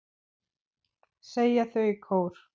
segja þau í kór.